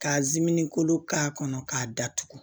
Ka kolo k'a kɔnɔ k'a datugu